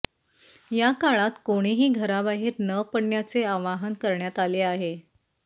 या काळात कोणीही घराबाहेर न पडण्याचे आवाहन करण्यात आले आहे